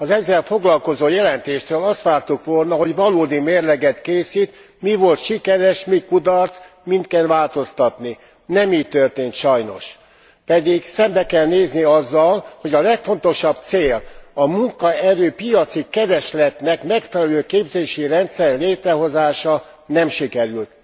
Az ezzel foglalkozó jelentéstől azt vártuk volna, hogy valódi mérleget készít, mi volt sikeres, mi kudarc, min kell változtatni. Nem így történt sajnos, pedig szembe kell nézni azzal, hogy a legfontosabb cél, a munkaerő piaci keresletnek megfelelő képzési rendszer létrehozása nem sikerült.